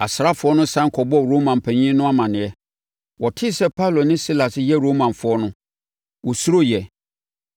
Asraafoɔ no sane kɔbɔɔ Roma mpanin no amaneɛ. Wɔtee sɛ Paulo ne Silas yɛ Romafoɔ no, wɔsuroeɛ